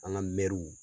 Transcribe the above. An ka mɛruw